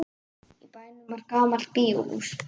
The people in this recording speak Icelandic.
Í bænum var gamalt bíóhús.